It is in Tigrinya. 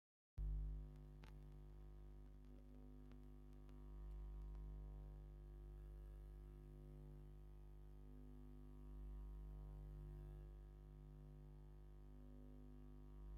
ሓንቲ ኣደ ንታሕቲ ተቆኒና ሳርዴታ ዘለዎ ቆልዓ ሓዚላ ብማሕዘል ዛዕጎል ዘለዎ ፣ጥልፊ ጌራ ፣ ኣብ ምንታይ ኮፍ ኢላ ኣላ ?